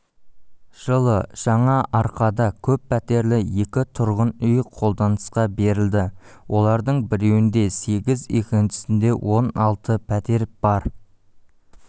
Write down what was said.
жылы жаңаарқада көппәтерлі екі тұрғын үй қолданысқа берілді олардың біреуінде сегіз екіншісінде он алты пәтер бар